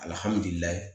Alihamudulila